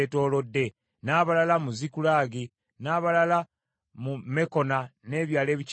n’abalala mu Zikulagi, n’abalala mu Mekona n’ebyalo ebikyetoolodde